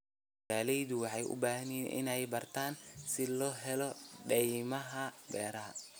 Beeralayda waxay u baahan yihiin inay bartaan sida loo helo deymaha beeraha.